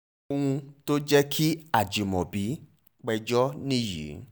ohun tó jẹ́ kí ajímọ́bì péjọ nìyí